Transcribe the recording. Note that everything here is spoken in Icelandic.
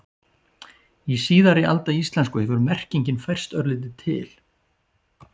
Í síðari alda íslensku hefur merkingin færst örlítið til.